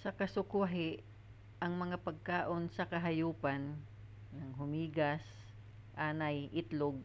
sa kasukwahi ang mga pagkaon sa kahayupan hulmigas anay itlog